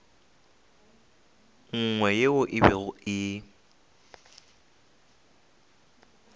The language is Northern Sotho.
nngwe yeo e bego e